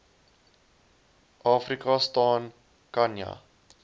afrika staan khanya